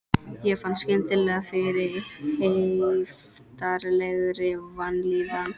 Ég fann skyndilega fyrir heiftarlegri vanlíðan.